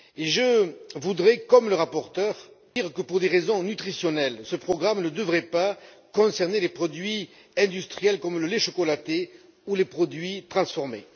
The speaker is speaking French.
Je voudrais dire, tout comme le rapporteur, que pour des raisons nutritionnelles, ce programme ne devrait pas concerner les produits industriels comme le lait chocolaté ou les produits transformés.